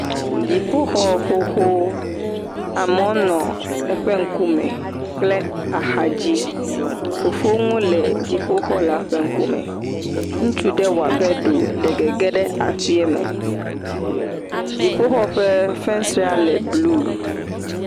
dziƒoxɔ xoxo amewo nɔ eƒe ŋkume kple axadzi fofoŋu le dziƒoxɔ la ƒe ŋkume ŋutsu ɖe wɔabe ɖewo le gegem ɖe aƒie me dziƒoxɔ ƒe fesrea le blu